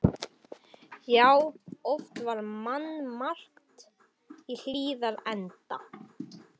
Já, oft var mannmargt í Hlíðarenda.